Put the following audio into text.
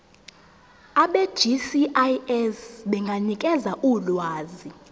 abegcis benganikeza ulwazi